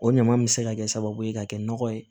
O ɲama in bɛ se ka kɛ sababu ye ka kɛ nɔgɔ ye